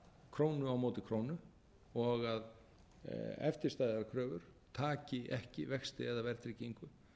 krónu á móti krónu og að eftirstæðar kröfur taki ekki vexti eða verðtryggingu